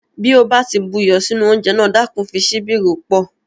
Bí o bá ti bu iyọ̀ sí oúnjẹ náà, Dákun fi síbi rò ó pọ̀